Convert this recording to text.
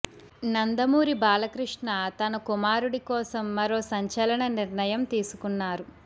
నందమూరి బాలకృష్ణ తన కుమారుడి కోసం మరో సంచలన నిర్ణయం తీసుకున్నారు